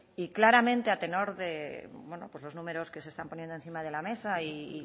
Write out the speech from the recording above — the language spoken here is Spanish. y claramente a tenor de bueno pues los números que se están poniendo encima de la mesa y